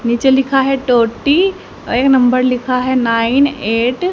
नीचे लिखा है टोटी और एक नंबर लिखा है नाइन एट --